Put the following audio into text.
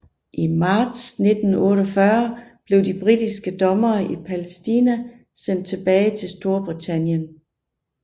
I marts 1948 blev de britiske dommere i Palæstina sendt tilbage til Storbritannien